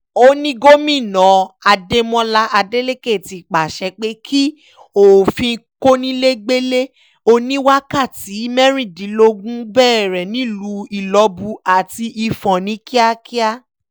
ó ní gómìnà adémọlá adeleke ti pàṣẹ pé kí òfin kónílégbélé oníwákàtí mẹ́rìndínlógún bẹ̀rẹ̀ nílùú ilọ́bù àti ifo̩n ní kíákíá